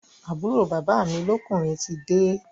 Àbúrò bàbá mi lọ́kùnrin tide